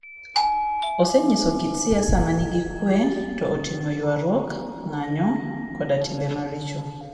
Osenyiso kit siasa ma nigi kuwe to oting'o ywaruok, ng'anjo, koda timbe maricho.